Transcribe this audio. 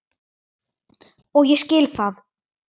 Og ég skil það.